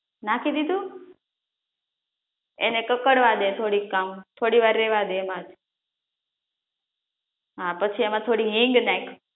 નાખી દીધું? એને કકડવા દે થોડી આમ થોડી વાર રેવા દે એમ, એમા પછી થોડી હીંગ નાખ